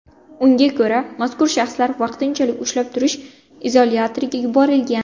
Unga ko‘ra, mazkur shaxslar vaqtinchalik ushlab turish izolyatoriga yuborilgan.